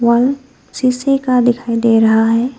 बल शीशे का दिखाई दे रहा है।